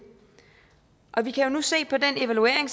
og vi kan jo nu se på den evaluering